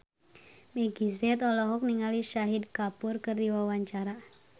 Meggie Z olohok ningali Shahid Kapoor keur diwawancara